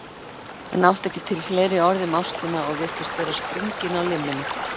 Hann átti ekki til fleiri orð um ástina og virtist vera sprunginn á limminu.